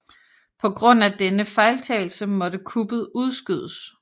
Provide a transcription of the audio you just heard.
På grund af denne fejltagelse måtte kuppet udskydes